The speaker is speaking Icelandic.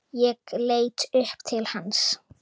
Ég leit upp til hans.